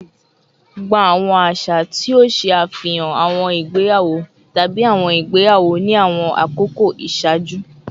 Gba awọn aṣa ti o ṣe afihan awọn igbeyawo tabi awọn igbeyawo ni awọn akoko iṣaaju